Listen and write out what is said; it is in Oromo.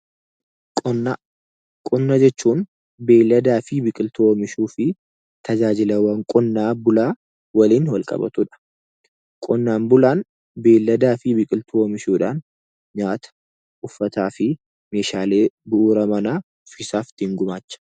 Qonnaa . Qonna jechuun beelladaa fi biqiltuu oomishuufi tajaajilawwan qonnaan bulaa waliin walqabatudha. Qonnaan bulaan beelladaa fi biqiltuu oomishuudhaan nyaata, uffataafi meeshaalee bu'uura manaaf ittiin gumaacha.